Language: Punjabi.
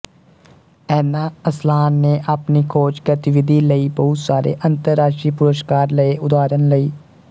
ਐਨਾ ਅਸਲਾਨ ਨੇ ਆਪਣੀ ਖੋਜ ਗਤੀਵਿਧੀ ਲਈ ਬਹੁਤ ਸਾਰੇ ਅੰਤਰਰਾਸ਼ਟਰੀ ਪੁਰਸਕਾਰ ਲਏ ਉਦਾਹਰਣ ਲਈ